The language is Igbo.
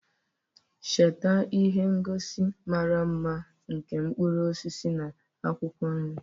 Cheta ihe ngosi mara mma nke mkpụrụ osisi na akwụkwọ nri,